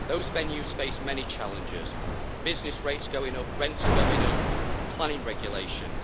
Those venues face many challenges business rates going up, rents going up, planning regulations.